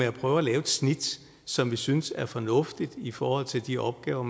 at prøve at lave et snit som vi synes er fornuftigt i forhold til de opgaver